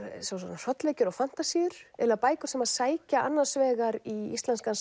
hrollvekjur og fantasíur eiginlega bækur sem sækja annars vegar í íslenskan